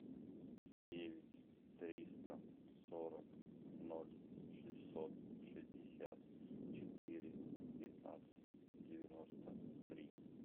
девять триста сорок ноль шестьсот шестьдесят четыре пятнадцать девяносто три